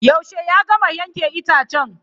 Yaushe ya gama yanke itacen?